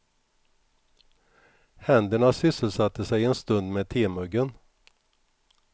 Händerna sysselsatte sig en stund med temuggen.